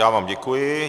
Já vám děkuji.